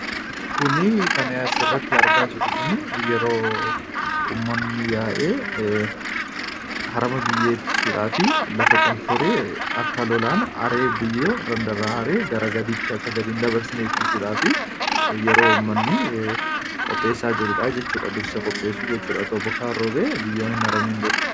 kuni kan as irratti argaa jirru kun yeroo uummanni yaa'ee harama biyyee itti suudhaa fi lafa qonforee akka lolaan biyyoo haree gara gadiitti akka gadiin dabarsine ittisuudhaaf yeroo ummanni qopheessaa jiruudha jechuudha .dursa qopheessu jechuudha otoo bokkaan roobe biyyoon hin haramiin dura.